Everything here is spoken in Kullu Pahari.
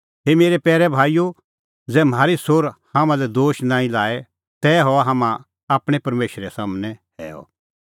मेरै पैरै भाईओ ज़ै म्हारी सोर हाम्हां लै दोश नांईं लाए तै हआ हाम्हां आपणैं परमेशरा सम्हनै हैअ